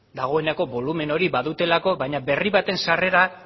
dagoeneko bolumen hori badutelako baina berri baten sarrera